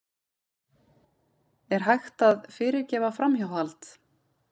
Er hægt að fyrirgefa framhjáhald?